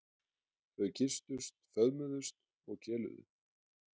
Þau kysstust, föðmuðust og keluðu.